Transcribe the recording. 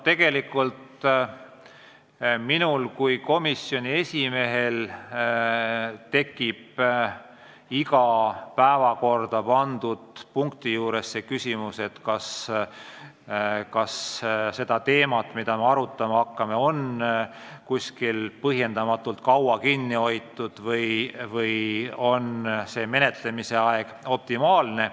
Tegelikult tekib minul kui komisjoni esimehel iga päevakorda pandud punkti puhul küsimus, kas seda teemat, mida me arutama hakkame, on kuskil põhjendamatult kaua kinni hoitud või on võimaldatud menetlemise aeg optimaalne.